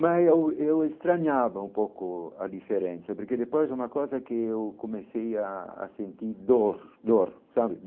Mas eu eu estranhava um pouco a diferença, porque depois é uma coisa que eu comecei a a sentir dor, dor, sabe?